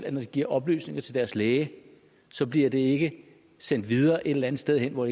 at når de giver oplysninger til deres læge så bliver de ikke sendt videre et eller andet sted hen hvor